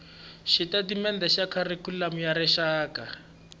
xitatimendhe xa kharikhulamu ya rixaka